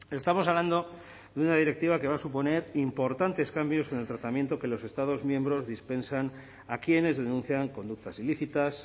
estamos hablando de una directiva que va a suponer importantes cambios en el tratamiento que los estados miembros dispensan a quienes denuncian conductas ilícitas